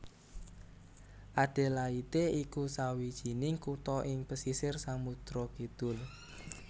Adelaide iku sawijining kutha ing pesisir Samudra Kidul